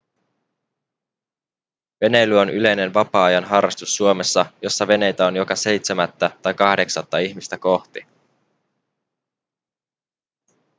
veneily on yleinen vapaa-ajan harrastus suomessa jossa veneitä on joka seitsemättä tai kahdeksatta ihmistä kohti